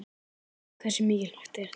Hversu mikilvægt var þetta?